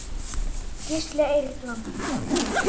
Gísli Eyland.